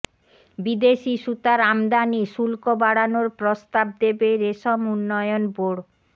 বিদেশি সুতার আমদানি শুল্ক বাড়ানোর প্রস্তাব দেবে রেশম উন্নয়ন বোর্ড